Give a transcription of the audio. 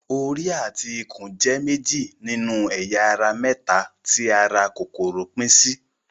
Orí àti ikùn jẹ́ méjì nínú ẹ̀yà ara mẹ́ta tí ara kòkòrò pín sí.